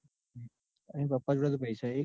N પાપા જોડે તો પૈસા તો હે ને.